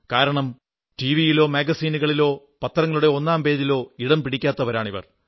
കാരണം ടിവിയിലോ മാഗസിനുകളിലോ പത്രങ്ങളുടെ ഒന്നാം പേജിലോ ഇടം പിടിക്കാത്തവരാണിവർ